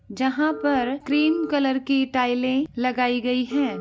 जहाँ पर cream colour की टाइलें लगाई गई हैं।